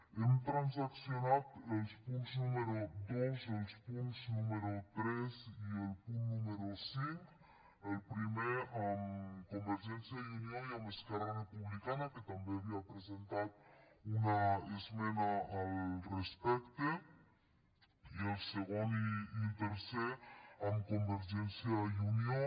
hem transaccionat el punt número dos el punt número tres i el punt número cinc el primer amb convergència i unió i amb esquerra republicana que també havia presentat una esmena al respecte i el segon i el tercer amb convergència i unió